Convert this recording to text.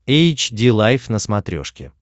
эйч ди лайф на смотрешке